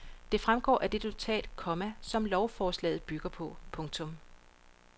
Det fremgår af det notat, komma som lovforslaget bygger på. punktum